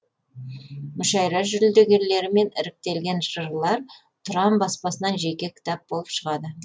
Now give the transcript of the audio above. мүшәйра жүлдегерлері мен іріктелген жырлар тұран баспасынан жеке кітап болып шығады